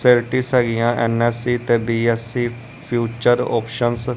facilities ਹੈਗੀਆ MSc ਤੇ BSc future options --